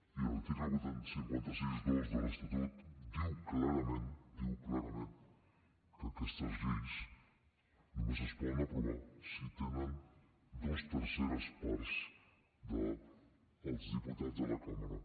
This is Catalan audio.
i l’article cinc cents i seixanta dos de l’estatut diu clarament ho diu clarament que aquestes lleis només es poden aprovar si tenen dues terceres parts dels diputats de la cambra